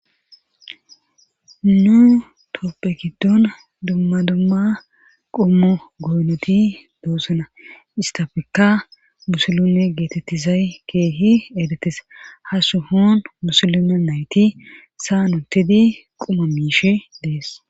Nu toopphe giddon dumma dumma qummo goynoti doosona istafekka musulume geetettizay keehi edetes ha su hoon musulume nayti saa nuttidi quma miishe dees.